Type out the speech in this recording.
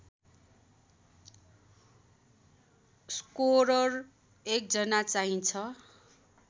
scorer १ जना चाहिन्छ